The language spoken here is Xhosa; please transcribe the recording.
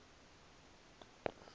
enxise